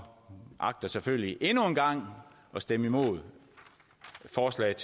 agter selvfølgelig endnu en gang at stemme imod forslaget